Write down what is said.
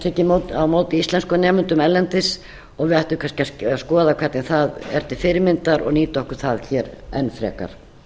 tekið á móti íslenskum nemendum erlendis og við ættum kannski að skoða hvernig það er til fyrirmyndar og nýta okkur það hér enn frekar